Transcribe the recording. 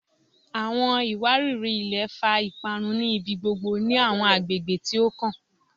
Awọn iwariri-ilẹ fa iparun ni ibigbogbo ni awọn agbegbe ti o kan